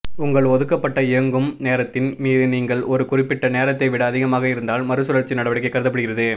உங்கள் ஒதுக்கப்பட்ட இயங்கும் நேரத்தின் மீது நீங்கள் ஒரு குறிப்பிட்ட நேரத்தை விட அதிகமாக இருந்தால் மறுசுழற்சி நடவடிக்கை கருதப்படுகிறது